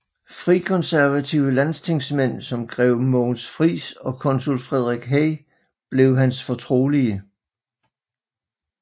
Frikonservative landstingsmænd som grev Mogens Frijs og konsul Frederik Hey blev hans fortrolige